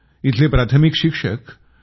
इथले प्राथमिक शिक्षक पी